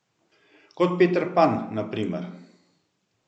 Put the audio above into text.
Kot Peter Pan na primer.